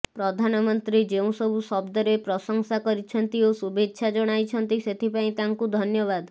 ପ୍ରଧାନମନ୍ତ୍ରୀ ଯେଉଁସବୁ ଶବ୍ଦରେ ପ୍ରଶଂସା କରିଛନ୍ତି ଓ ଶୁଭେଚ୍ଛା ଜଣାଇଛନ୍ତି ସେଥିପାଇଁ ତାଙ୍କୁ ଧନ୍ୟବାଦ